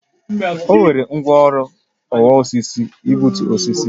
O were ngwaọrụ ọwa osisi gbutu osisi